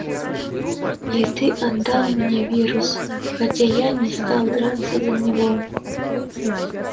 и ты отдал мне вирус хотя я не стал драться за него